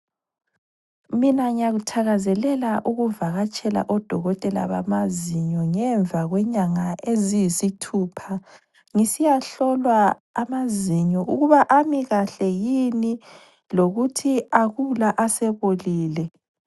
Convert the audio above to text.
Mina ngiyakuthakazelela ukuvakatshela odokotela bamazinyo ngemva kwenyanga eziyisithupha. Ngisiyahlolwa amazinyo ukuba amikahle yini lokuthi akula asebolile.